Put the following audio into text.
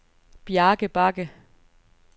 Bjarke Bagge